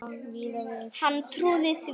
Hann trúði því.